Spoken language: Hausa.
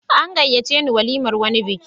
An gayyace ni walimar wani biki.